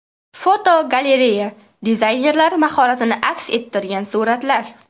Fotogalereya: Dizaynerlar mahoratini aks ettirgan suratlar.